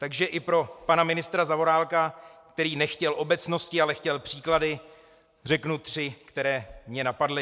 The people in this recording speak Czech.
Takže i pro pana ministra Zaorálka, který nechtěl obecnosti, ale chtěl příklady, řeknu tři, které mě napadly.